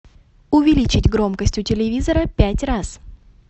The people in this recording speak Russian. увеличить громкость у телевизора пять раз